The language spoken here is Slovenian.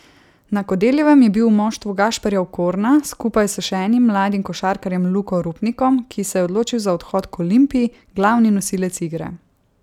Na Kodeljevem je bil v moštvu Gašperja Okorna skupaj s še enim mladim košarkarjem Luko Rupnikom, ki se je odločil za odhod k Olimpiji, glavni nosilec igre.